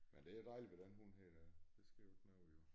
Men det er dejligt ved den her hund da det sker der ikke noget ved